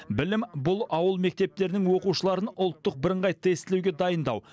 білім бұл ауыл мектептерінің оқушыларын ұлттық бірыңғай тестілеуге дайындау